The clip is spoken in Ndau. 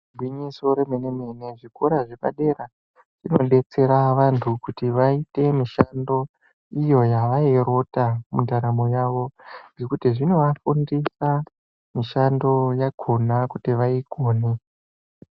Gwinyiso remene mene zvikora zvepadera dera zvinodetsera vantu kuti vaite mishando Iyo yavairota mundaramo yavo nekuti zvinovafundiss mushando yakona kuti vaikone.